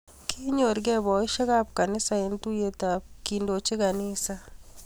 Kinyor ke boisiek ab kanisa eng tuyet ab kendoji kanisa